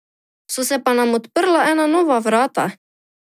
So se pa nam odprla ena nova vrata.